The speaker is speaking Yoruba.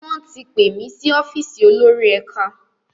Wón tí pé mí sí ọ́fíìsì olórí ẹka.